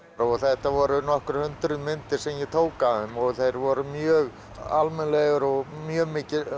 og þetta voru nokkur hundruð myndir sem ég tók af þeim og þeir voru mjög almennilegir og mjög